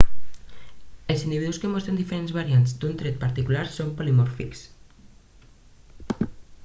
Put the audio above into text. els individus que mostren diferents variants d'un tret particular són polimòrfics